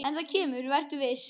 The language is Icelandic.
En það kemur, vertu viss.